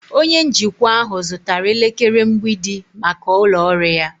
Onye njikwa ahụ zụtara elekere mgbidi maka ụlọ ọrụ ya.